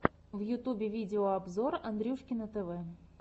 в ютубе видеообзор андрюшкино тв